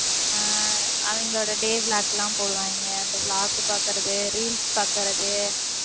ஆஹ் அவங்களோட day vlog எல்லாம் போடுவாங்க. அந்த vlog பாக்கறது, reels பாக்கறது,